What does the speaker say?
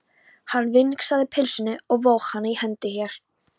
Hann vingsaði pylsunni og vóg hana í hendi sér.